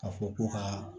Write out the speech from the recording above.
Ka fɔ ko ka